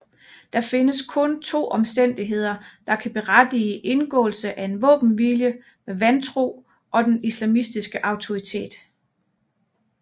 Der findes kun to omstændigheder der kan berettige indgåelse af en våbenhvile med vantro og den islamiske autoritet